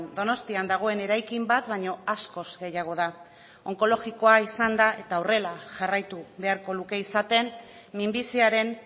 donostian dagoen eraikin bat baino askoz gehiago da onkologikoa izan da eta horrela jarraitu beharko luke izaten minbiziaren